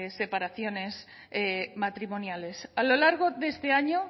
separaciones matrimoniales a lo largo de este año